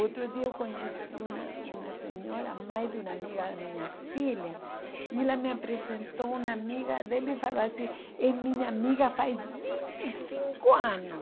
Outro dia eu conheci uma uma senhora, mãe de uma amiga da minha filha, e ela me apresentou uma amiga dela e falou assim, é minha amiga faz vinte e cinco anos.